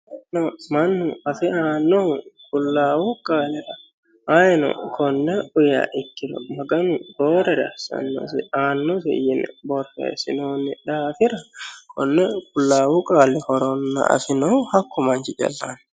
mannu afe aannohu qullaawu qaalira ayiino konne uyiiha ikkiro maganu roorere assanno aannosi yine borreessinoonni daafira konni qullaawu qaali horo afinohu hakku manchi calla aanno.